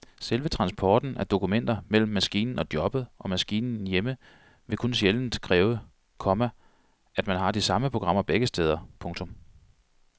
Selve transporten af dokumenter mellem maskinen på jobbet og maskinen hjemme vil kun sjældent kræve, komma at man har de samme programmer begge steder. punktum